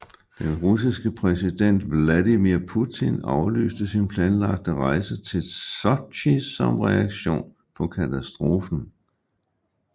Den russiske præsident Vladimir Putin aflyste sin planlagte rejse til Sotji som reaktion på katastrofen